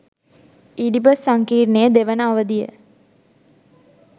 Oedipus සංකීර්ණයේ දෙවන අවධිය